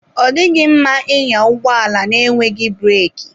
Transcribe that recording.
Ọ dịghị mma ịnya ụgbọ ala na-enweghị breki.